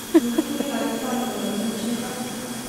екатерина александровна гринченко